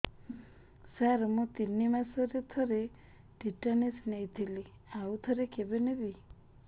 ସାର ମୁଁ ତିନି ମାସରେ ଥରେ ଟିଟାନସ ନେଇଥିଲି ଆଉ ଥରେ କେବେ ନେବି